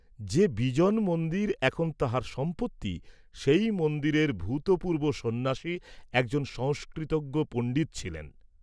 যে বিজন মন্দির এখন তাঁহার সম্পত্তি সেই মন্দিরের ভূতপূর্ব্ব সন্ন্যাসী একজন সংস্কৃতজ্ঞ পণ্ডিত ছিলেন।